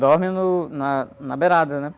Dorme no, na, na beirada, né?